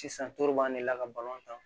Sisan toro b'an de la ka balon tan